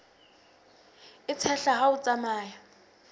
e tshehla ha o tsamaya